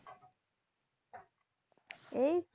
এই